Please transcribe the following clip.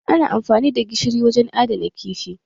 Ana amfani da gishiri wajen adana kifi